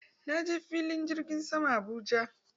Na je filin jirgin saman Abuja.